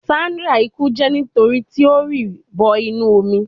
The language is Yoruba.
Sandra iku je nitori ti o ri bo inu omi